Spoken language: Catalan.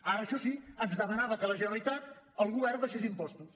ara això sí ens demanava que la generalitat el govern abaixés impostos